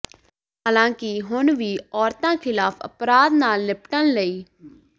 ਹਾਲਾਂਕਿ ਹੁਣ ਵੀ ਔਰਤਾਂ ਖ਼ਿਲਾਫ਼ ਅਪਰਾਧ ਨਾਲ ਨਿਪਟਣ ਲਈ